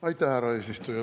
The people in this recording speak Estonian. Aitäh, härra eesistuja!